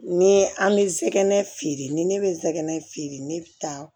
Ni an bɛ sɛgɛn feere ni ne bɛ zɛgɛ feere ne bi taa